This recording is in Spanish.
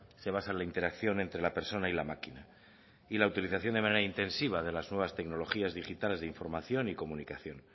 se basa en la interacción entre la persona y la máquina y la utilización de manera intensiva de las nuevas tecnologías digitales de información y comunicación